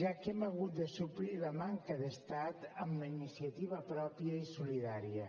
ja que hem hagut de suplir la manca d’estat amb la iniciativa pròpia i solidària